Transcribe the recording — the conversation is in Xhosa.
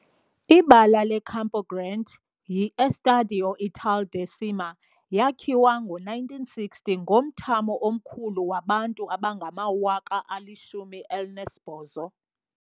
Ibala le-Campo Grande yi-Estádio Ítalo Del Cima, yakhiwa ngo-1960, ngomthamo omkhulu wabantu abangama-18,000.